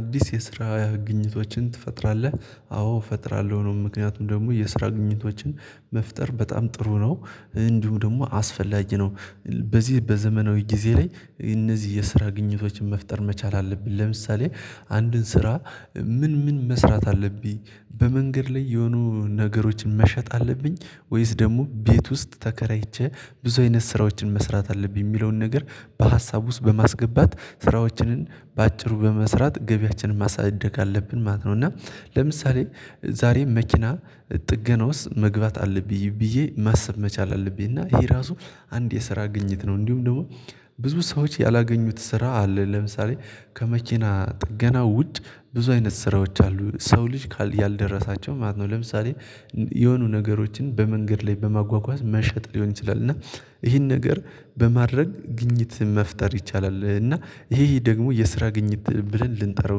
አዲስ የስራ ግኝቶችን ትፈጥራለህ? አዎ እፈጥራለሁ ነው ምክንያቱም ደግሞ የስራ ግኝቶችን መፍጠር በጣም ጥሩ ነው እንዲሁ ደግሞ አስፈላጊ ነው። በዚህ በዘመናዊ ጊዜ ላይ እነዚህ የስራ ግኝቶችን መፍጠር መቻል አለብን። ለምሳሌ አንድን ስራ ምን ምን መስራት አለብኝ? በመንገድ ላይ የሆኑ ነገሮችን መሸጥ አለብኝ። ወይስ ደግሞ ቤት ውስጥ ተከራይቼ ብዙ አይነት ስራዎችን መስራት አለብኝ የሚለውን ነገር በሀሳብ ውስጥ በማስገባት ስራዎችንን በአጭሩ በመስራት ገቢያችንን ማሳደግ አለብን ማለት ነው። እና ለምሳሌ ዛሬ መኪና ጥገና ውስጥ መግባት አለብኝ ብዬ ማሰብ መቻል አለብኝ እና ይሄ ራሱ አንድ የስራ ግኝት ነው። እንዲሁም ደግሞ ብዙ ሰዎች ያላገኙት ስራ አለ። ለምሳሌ ከመኪና ጥገና ውጭ ብዙ አይነት ስራዎች አሉ ሰው ልጅ ያልደረሳቸው ማለት ነው። ለምሳሌ የሆኑ ነገሮችን በመንገድ ላይ በማጓጓዝ መሸጥ ሊሆን ይችላል። እና ይሄን ነገር በማድረግ ግኝት መፍጠር ይቻላል። እና ይሄ ደግሞ የስራ ግኝት ብለን ልንጠራው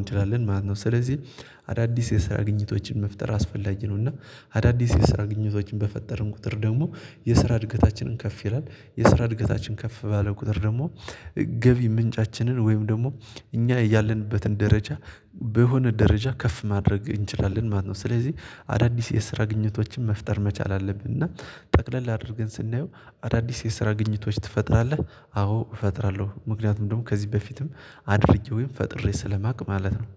እንችላለን ማለት ነው። ስለዚህ አዳዲስ የስራ ግኝቶችን መፍጠር አስፈላጊ ነው። እና አዳዲስ የስራ ግኝቶችን በፈጠረን ቁጥር ደግሞ የስራ እድገታችንን ከፍ ይላል የስራ እድገታችን ከፍ ባለ ቁጥር ደግሞ። ገቢ ምንጫችንን ወይም ደግሞ እኛ ያለንበትን ደረጃ በሆነ ደረጃ ከፍ ማድረግ እንችላለን ማለት ነው። ስለዚህ አዳዲስ የስራ ግኝቶችን መፍጠር መቻል አለብን። እና ጠቅለል አድርገን ስናየው አዳዲስ የስራ ግኝቶች ትፈጥራለህ? አዎ እፈጥራለሁ ምክንያቱም ደግሞ ከዚህ በፊትም አድርጌ ወይም ፈጥሬ ስለማቅ ማለት ነው